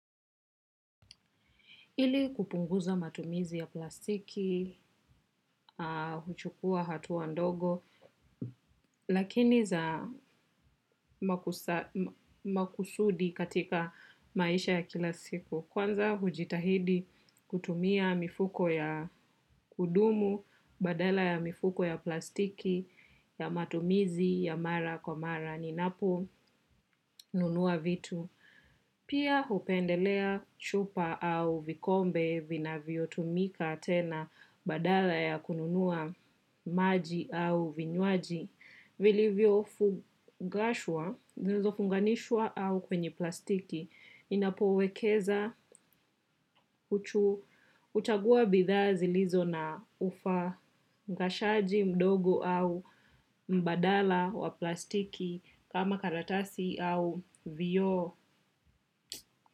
Ili kupunguza matumizi ya plastiki, huchukua hatua ndogo, lakini za makusudi katika maisha ya kila siku. Kwanza hujitahidi kutumia mifuko ya kudumu, badala ya mifuko ya plastiki, ya matumizi ya mara kwa mara, ninaponunua vitu. Pia hupendelea chupa au vikombe vinavyotumika tena badala ya kununua maji au vinywaji. Zilizofunganishwa au kwenye plastiki. Ninapowekeza huchagua bidhaa zilizo na ufangashaji mdogo au mbadala wa plastiki kama karatasi au vioo.